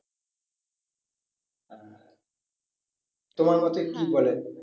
তোমার মতে বলে?